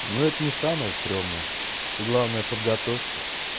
ну это не самая стремная ты главное подготовься